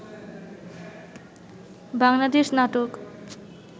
Bangladesh নাটোক